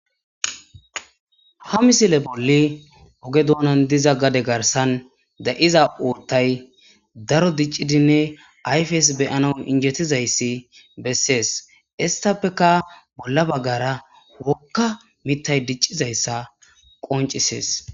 Ha misile bolli oge doonan diza gade garsan da'iza urtay daro diccidinne ayfeys beyana injetizayssi bessees istappeka bolla baggara wokka mittay diccizayssa qoncisees.